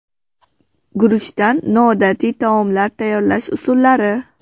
Guruchdan noodatiy taomlar tayyorlash usullari.